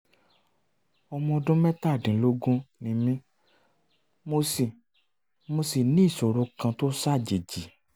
um ọmọ ọdún mẹ́tàdínlógún ni mí um mo sì mo sì ní ìṣòro kan tó ṣàjèjì